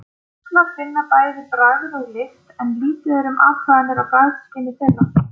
Fuglar finna bæði bragð og lykt en lítið er um athuganir á bragðskyni þeirra.